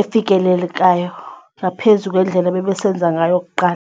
efikelelekayo ngaphezu ngendlela ebebesenza ngayo kuqala.